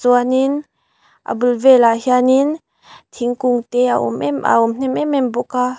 chuan in a bul velah hian in thingkung te a a awm hnem em em bawk a--